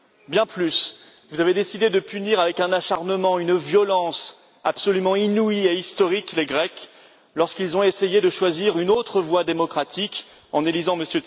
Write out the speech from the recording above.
Bien plus, vous avez décidé de punir avec un acharnement, une violence absolument inouïe et historique, les Grecs lorsqu'ils ont essayé de choisir une autre voie démocratique en élisant M.